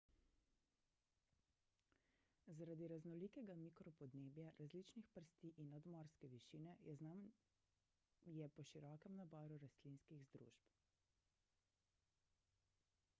zaradi raznolikega mikropodnebja različnih prsti in nadmorske višine je znan je po širokem naboru rastlinskih združb